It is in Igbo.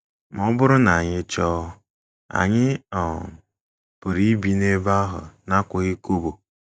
Ma ọ bụrụ na anyị achọọ, anyị um pụrụ ibi n’ebe ahụ n’akwụghị kobo.